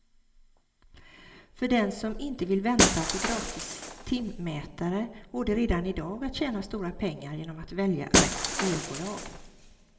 För den som inte vill vänta på gratis timmätare går det redan i dag att tjäna stora pengar genom att välja rätt elbolag.